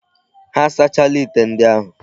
Ha asachaala ite ndi ahu.